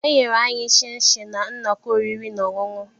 e nyere anyị shịnshịn na nnọkọ oriri na ọṅụṅụ